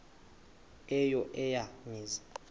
eyo eya mizi